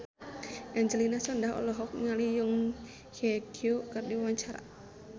Angelina Sondakh olohok ningali Song Hye Kyo keur diwawancara